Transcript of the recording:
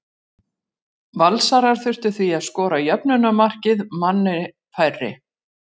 Valsarar þurftu því að skora jöfnunarmarkið manni færri.